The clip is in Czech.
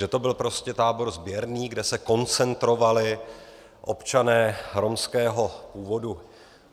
Že to byl prostě tábor sběrný, kde se koncentrovali občané romského původu.